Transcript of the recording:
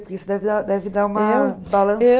Porque isso deve dar deve dar uma